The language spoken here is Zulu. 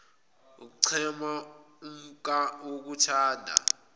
ukuchema umhkuba wokuthanda